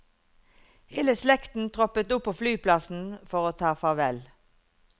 Hele slekten troppet opp på flyplassen for å ta farvel.